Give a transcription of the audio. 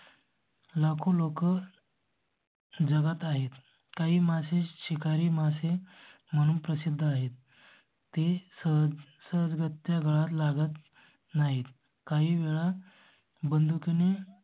लाखों लोकर. जगात आहेत काही मासे शिकारी मासे म्हणून प्रसिद्ध आहेत. ती सध्या घरात लागत नाहीत. काही वेळा बंदुकी ने